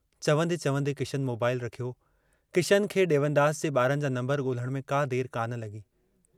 चवन्दे-चवन्दे Kishan mobile रखियो, किशन खे डेवनदास जे बारनि जा नम्बर गोल्हण में का देर कान लगी।